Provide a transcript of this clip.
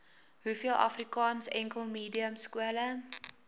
hoeveel afrikaansenkelmediumskole